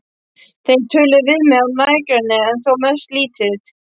Þeir töluðu við mig af nærgætni en þó mest lítið.